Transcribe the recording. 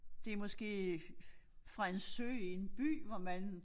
Det måske øh fra en sø i en by hvor man